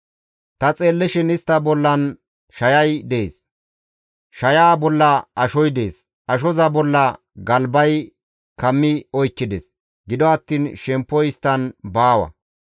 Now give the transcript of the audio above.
Ta xeellishin istta bollan shayay dees; shayaa bolla ashoy dees; ashoza bolla galbay kammi oykkides; gido attiin shemppoy isttan baawa.